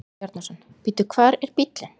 Jón Bjarnason: Bíddu, hvar er bíllinn?